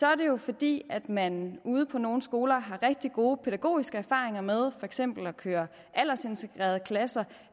er det jo fordi man ude på nogle skoler har rigtig gode pædagogiske erfaringer med for eksempel at køre aldersintegrerede klasser